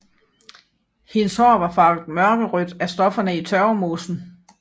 Hendes hår var farvet mørkerødt af stofferne i tørvemosen